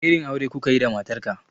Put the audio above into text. Wani irin aure kukayi da matar ka?